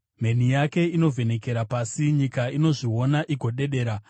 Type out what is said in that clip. Mheni yake inovhenekera pasi; nyika inozviona igodedera.